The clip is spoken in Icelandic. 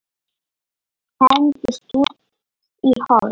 Hendist út í horn.